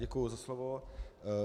Děkuji za slovo.